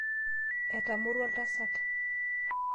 Eramorua oltasat.